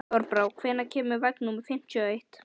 Þorbrá, hvenær kemur vagn númer fimmtíu og eitt?